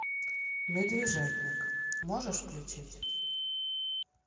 медвежатник можешь включить